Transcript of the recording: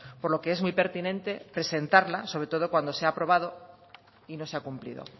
por lo que es muy pertinente presentarla sobre todo cuando se ha aprobado y no se ha cumplido